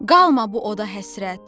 qalma bu oda həsrət.